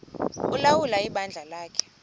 ulawula ibandla lakhe